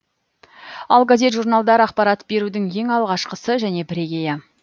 ал газет журналдар ақпарат берудің ең алғашқысы және бірегейі